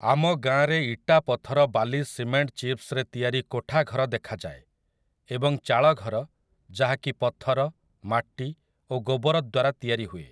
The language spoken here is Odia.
ଆମ ଗାଆଁରେ ଇଟା ପଥର ବାଲି ସିମେଣ୍ଟ ଚିପ୍ସ୍ ରେ ତିଆରି କୋଠା ଘର ଦେଖାଯାଏ ଏବଂ ଚାଳଘର ଯାହାକି ପଥର ମାଟି ଓ ଗୋବର ଦ୍ୱାରା ତିଆରିହୁଏ ।